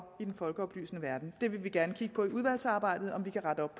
i den folkeoplysende verden det vil vi gerne kigge på i udvalgsarbejdet om vi kan rette op